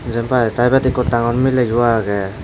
jempai tey ibot ikko dangor miley yo agey.